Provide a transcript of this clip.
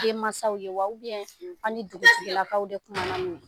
Den mansaw ye wa I ye sigi a ni dugutigilakaw; N te sigi; de kumanan n'u ye?